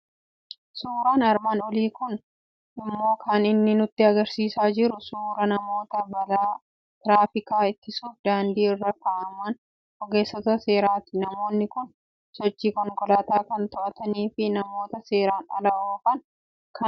Suuraan armaan olii kun immoo kan inni nutti argisiisaa jiru suuraa namoota balaa tiraafikaa ittisuuf daandii irra kaa'aman ogeessota seeraati. Namoonni kun sochii konkolaataa kan to'atanii fi namoota seeraan ala oofan kan adabanidha.